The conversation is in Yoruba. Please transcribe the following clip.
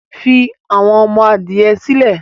fI àwọn ọmọ-adìyẹ sílẹ̀!